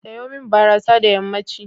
Seyo min barasa da yammanci.